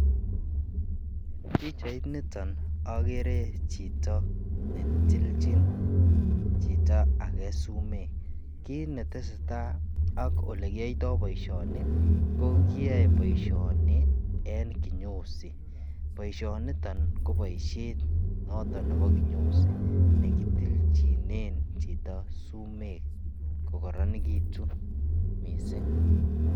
En pichait niton agere chito ne tilchin chito age sumek. Kit neteseta ak olekiyoito boisioni ko kiyoe boisioni en kinyosi. Boisionito ko boisiet noto nebo kinyozi nekitilchinen chito sumek kogororonegitu mising.